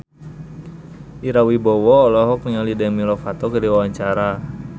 Ira Wibowo olohok ningali Demi Lovato keur diwawancara